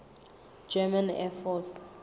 german air force